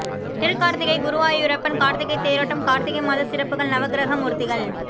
திருக்கார்த்திகை குருவாயூரப்பன் கார்த்திகைத் தேரோட்டம் கார்த்திகை மாத சிறப்புகள் நவக்கிரக மூர்த்திகள்